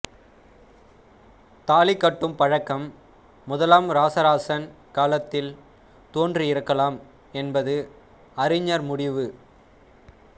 தாலிகட்டும் பழக்கம் முதலாம் இராசராசன் காலத்தில் தோன்றியிருக்கலாம் என்பது அறிஞர் முடிவு